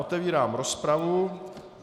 Otevírám rozpravu.